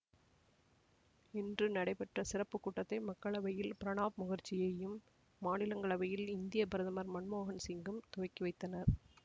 இன்று நடைபெற்ற சிறப்புக்கூட்டத்தை மக்களவையில் பிரணாப் முகர்ஜியும் மாநிலங்கவையில் இந்திய பிரதமர் மன்மோகன் சிங்கும் துவக்கிவைத்தனர்